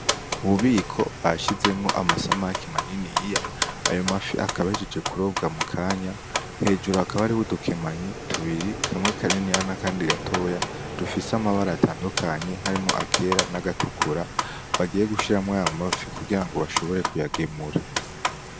Ububiko bashizemwo amasamake maniniya ayo mafi akaba ahejeje kurobwa mukanya hejuru hakaba hariho udukemanyi tubiri kamwe kaniniya na kandi gatoya dufise amabara atandukanye harimwo akera n'agatukura bagiye gushiramwo ayo mafi kugirango bashobore kuyagemura.